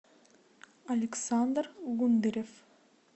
александр гундарев